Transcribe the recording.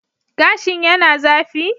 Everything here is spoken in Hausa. Gashin yana zafi?